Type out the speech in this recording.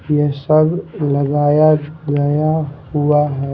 ये सब लगाया गया हुआ है।